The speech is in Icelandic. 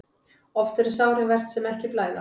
Oft eru þau sárin verst sem ekki blæða.